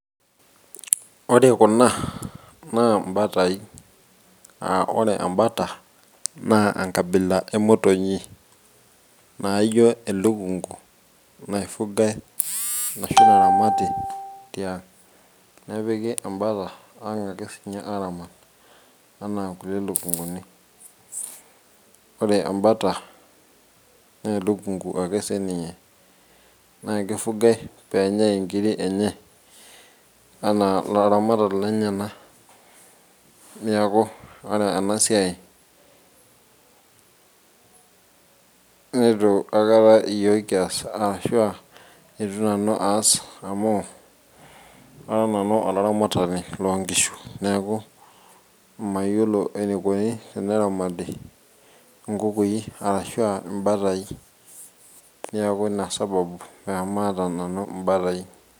Ore kuna naa imbatai, aa ore embata naa enkabila emotinyi naaijo elukunku naifugai arashu naramati tiank' nepiki embata ankang' ake sininye araamat enaa kulie lukunkuni. Ore embata naa elukunku ake siininye naakifugai pee enyai inkiri enye ana ilaramatak lenyana, neeku ore ena siai neitu aikata eyiook kias aashu aa ietu nanu aas amu ara nanu olaramatani loo nkishu, neeku mayiolo eneikoni teneramati enkukui arashu aa imbatai. Neeku ina sababu pamaata nanu imbatai.